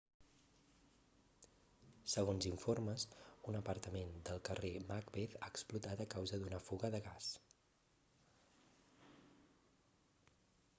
segons informes un apartament del carrer macbeth ha explotat a causa d'una fuga de gas